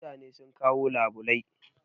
Mutane sun kawo labulai